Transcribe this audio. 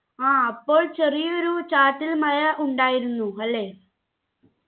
ആ അപ്പോൾ ചെറിയ ഒരു ചാറ്റൽ മഴ ഉണ്ടായിരുന്നു അല്ലെ